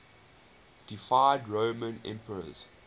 deified roman emperors